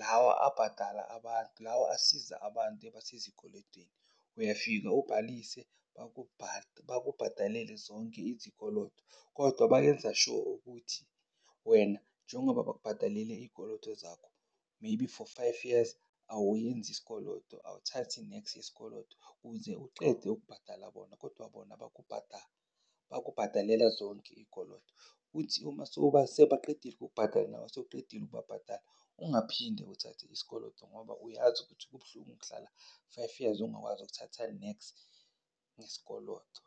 lawa abadala abantu lawa asiza abantu ebasezikodwetini. Uyafika ubhalise, bakubhatalele zonke izikoloto kodwa bayenza sho ukuthi wena njengoba bazokubhatalele iy'koloto zakho, maybe for five years awuyenzi sikoloto awuthathi nex yesikoloto uze ucede ukubhatala bona. Kodwa bona bakubhadalela zonke iy'koloto. Kuthi uma sewubaqedile ukubhadala, sewuqedile ukubabhadala ungaphinde uthathe isikoloto ngoba uyazi ukuthi kubuhlungu ukuhlala five years ungakwazi ukuthatha nex ngesikoloto.